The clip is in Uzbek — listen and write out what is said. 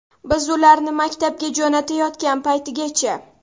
Biz ularni maktabga jo‘natayotgan paytigacha.